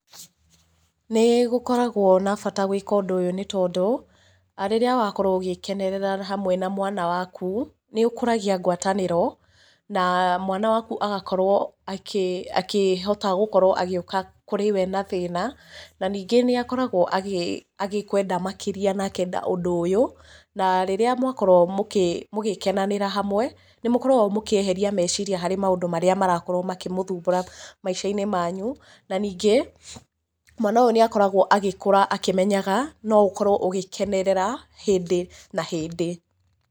Nĩ gũkoragwo na bata gwĩka ũndũ ũyũ, nĩ tondũ rĩrĩa wakorwo ũgĩkenerera hamwe na mwana waku, nĩ ũkũragia ngwatanĩro na mwana waku agakorwo akĩhota gũkorwo agĩũka kũrĩ we na thĩna, na ningĩ nĩ akoragwo agĩkũenda makĩria na akenda ũndũ ũyũ. Na rĩrĩa mwakorwo mũgũkenanĩra hamwe, nĩ mũkoragwo mũkĩeheria meciria harĩ maũndũ marĩa marakorwo makĩmũthumbũra maica-inĩ manyu. Na ningĩ, mwana ũyũ nĩ akoragwo agĩkũra akĩmenyaga no ũkorwo ũgĩkenerera hĩndĩ na hĩndĩ.